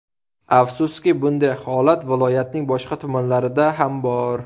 Afsuski, bunday holat viloyatning boshqa tumanlarida ham bor”.